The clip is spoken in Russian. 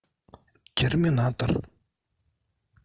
терминатор